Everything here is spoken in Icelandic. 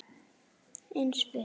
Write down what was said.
Eins við